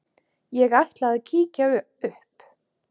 Ég ætla að kíkja upp